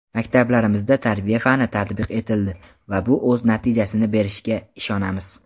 Maktablarimizda tarbiya fani tatbiq etildi va bu o‘z natijasini berishiga ishonamiz.